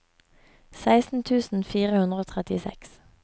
seksten tusen fire hundre og trettiseks